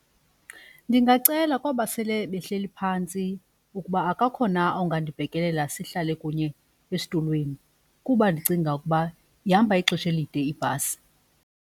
Ndingacela kwaba sele behleli phantsi ukuba akakho na ongandibhekelela sihlale kunye esitulweni kuba ndicinga ukuba ihamba ixesha elide ibhasi.